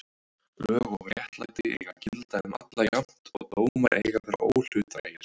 Lög og réttlæti eiga að gilda um alla jafnt og dómar eiga að vera óhlutdrægir.